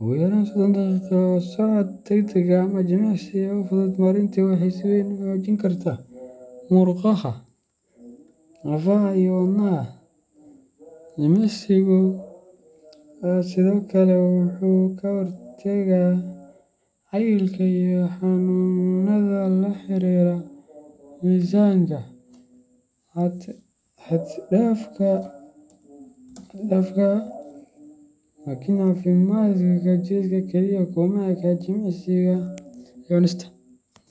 Ugu yaraan sodon daqiiqo oo socod degdeg ah ama jimicsi kale oo fudud maalintii waxay si weyn u xoojin kartaa murqaha, lafaha, iyo wadnaha. Jimicsigu sidoo kale wuxuu ka hortagaa cayilka iyo xanuunnada la xiriira miisaanka xad dhaafka ah. Laakiin caafimaadka jidhka kaliya kuma eka jimicsiga iyo cunista tooska ah.